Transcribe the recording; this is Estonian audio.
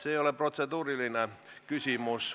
See ei ole protseduuriline küsimus.